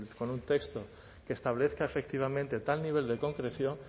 con un texto que establezca efectivamente tal nivel de concreción